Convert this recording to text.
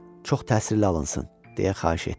Çox təsirli alınsın, deyə xahiş etdi.